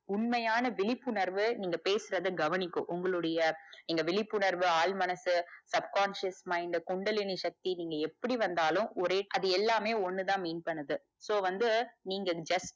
உண்மையான விழிப்புணர்வு நீங்க பேசுறத கவனிக்கு உங்களுடைய இங்க விழிப்புணர்வு ஆழ்மனசு subconscious mind இந்த குண்டலினின் சத்தி நீங்க எப்படி வந்தாலும் ஒரே அது எல்லாமே ஒண்ணுதா mean பண்ணுது so வந்து நீங்க just